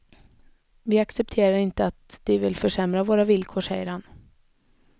Vi accepterar inte att de vill försämra våra villkor, säger han.